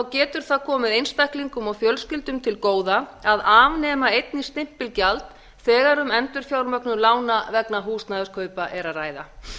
getur það komið einstaklingum og fjölskyldum til góða að afnema einnig stimpilgjald þegar um endurfjármögnun lána vegna húsnæðiskaupa er að ræða